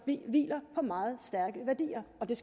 hviler på meget stærke værdier og det